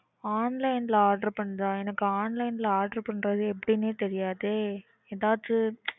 Online ல order பண்றதா? எனக்கு online ல order பண்றது எப்படினே தெரியாதே எதாச்சும்.